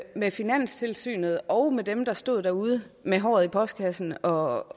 med finanstilsynet og med dem der stod derude med håret i postkassen og